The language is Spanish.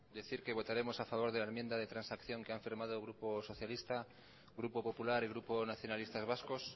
decir que votaremos a favor de la enmienda de transacción que han firmado el grupo socialista grupo popular y grupo nacionalistas vascos